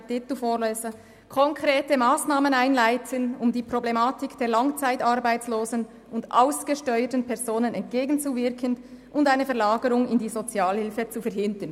Sein Titel lautet: «Konkrete Massnahmen einleiten, um der Problematik der langzeitarbeitslosen und ausgesteuerten Personen entgegenzuwirken und eine Verlagerung in die Sozialhilfe zu verhindern».